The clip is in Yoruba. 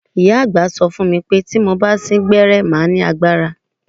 Ìyá àgbà sọ fún mi pé tí mo bá sín gbẹ́rẹ́ màá lágbára.